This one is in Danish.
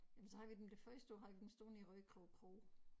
Ja men så havde vi dem det første år havde vi dem stående i Rødekro Kro